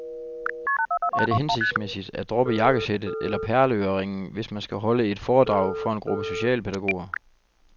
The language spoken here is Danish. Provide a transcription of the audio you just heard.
Er det hensigtsmæssigt at droppe jakkesættet eller perleøreringene, hvis man skal holde et foredrag for en gruppe socialpædagoger?